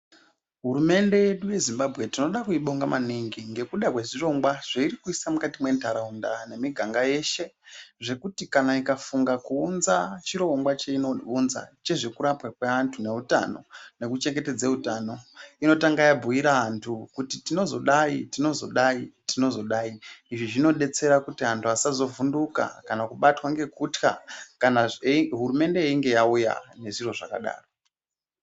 Hurumende yedu yeZimbabwe tinoda kuibonga maningi ngekuda kwezvirongwa zveiri kuisa mwukati mwentaraunda nemiganga yeshe zvekuti kana ikafunga kuunza chirongwa cheinounza chezvekurapwa kweantu neutano nekuchengetedze utano, inotanga yabhuyira vantu kuti tinozodai, tinozodai, tinozodai. Izvi zvinodetsera kuti antu vasazovhunduka kana kubatwa ngekutya kanazve hurumende yeinge yauya nezviro zvakadaro.